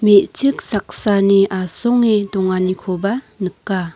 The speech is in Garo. me·chik saksani asonge donganikoba nika.